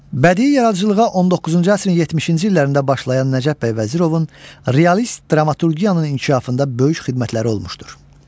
Bədii yaradıcılığa 19-cu əsrin 70-ci illərində başlayan Nəcəf bəy Vəzirovun realist dramaturgiyanın inkişafında böyük xidmətləri olmuşdur.